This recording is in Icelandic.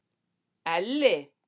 Elli